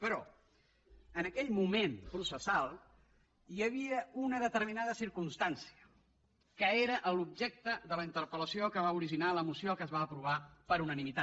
però en aquell moment processal hi havia una determinada circumstància que era l’objecte de la interpellació que va originar la moció que es va aprovar per unanimitat